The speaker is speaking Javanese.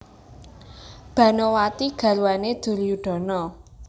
Banowati garwané Duryudana